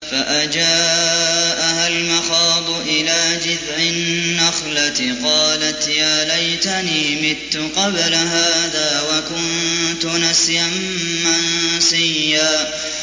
فَأَجَاءَهَا الْمَخَاضُ إِلَىٰ جِذْعِ النَّخْلَةِ قَالَتْ يَا لَيْتَنِي مِتُّ قَبْلَ هَٰذَا وَكُنتُ نَسْيًا مَّنسِيًّا